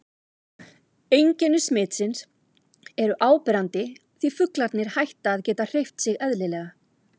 Einkenni smitsins eru áberandi því fuglarnir hætta að geta hreyft sig eðlilega.